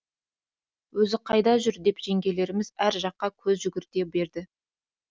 өзі қайда жүр деп жеңгелеріміз әр жаққа көз жүгірте берді